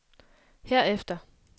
herefter